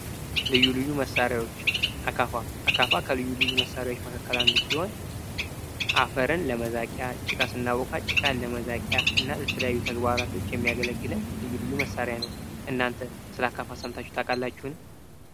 ልዩ ልዩ መሣሪያዎች አካፋ ከልዩ ልዩ መሳሪያዎች አንዱ ሲሆን አፈርን ለመቂያ ጭቃ ሲናቮካ ጭቃን ለመዛቂያ እና ለተለያዩ ተግባራቶች የሚያገለግለን ልዩ ልዩ መሳሪያ ነው። እናንተ ስለ አካፋ ሰምታችሁ ታውቃላችሁን።